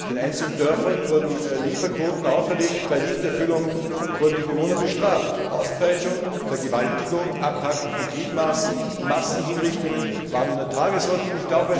Den einzelnen Dörfern wurden Lieferquoten auferlegt, bei Nichterfüllung wurden die Bewohner bestraft Auspeitschung, Vergewaltigung, Abhacken von Gliedmaßen, Massenhinrichtungen waren an der Tagesordnung.